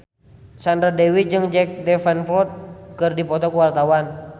Sandra Dewi jeung Jack Davenport keur dipoto ku wartawan